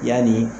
Yanni